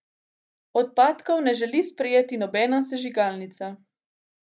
Odpadkov ne želi sprejeti nobena sežigalnica.